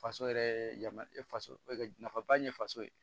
Faso yɛrɛ yamaruya faso e nafaba ye faso ye